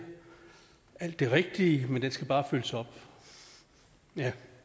alt det rigtige men den skal bare følges op ja